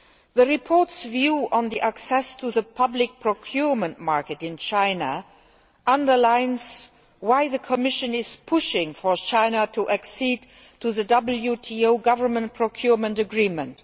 The report's view on access to the public procurement market in China underlines why the Commission is pushing for China to accede to the WTO Government Procurement Agreement.